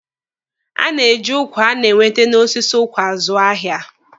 A na-eji ụkwa a na-ewete n'osisi ụkwa azụ ahịa